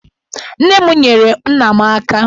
Nne m nyeere nna m aka.